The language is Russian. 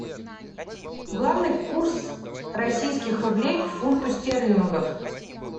главный курс российских рублей к фунту стерлингов